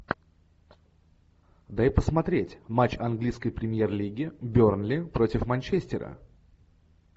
дай посмотреть матч английской премьер лиги бернли против манчестера